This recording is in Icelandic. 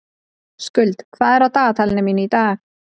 Skuld, hvað er á dagatalinu mínu í dag?